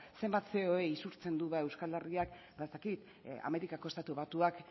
zenbat isurtzen du euskal herriak amerikako estatu batuak